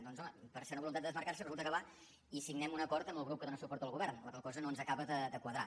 doncs home per ser una voluntat de desmarcar se resulta que va i signem un acord amb el grup que dóna suport al govern la qual cosa no ens acaba de quadrar